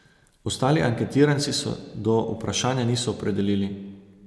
Ostali anketiranci se do vprašanja niso opredelili.